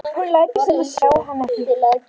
Hún lætur sem hún sjái hann ekki.